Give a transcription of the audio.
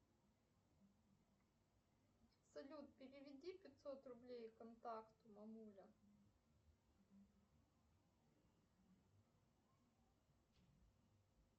салют переведи пятьсот рублей контакту мамуля